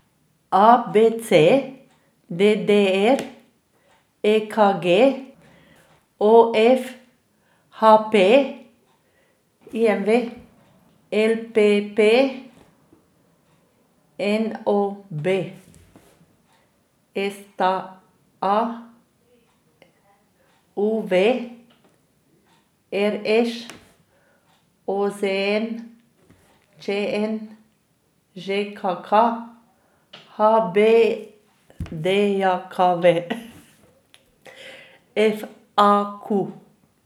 A B C; D D R; E K G; O F; H P; I M V; L P P; N O B; S T A; U V; R Š; O Z N; Č N; Ž K K; H B D J K V; F A Q.